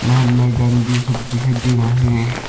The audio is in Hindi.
महात्मा गांधी सब दिखाई दे रहा है।